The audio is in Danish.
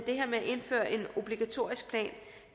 indføre en obligatorisk plan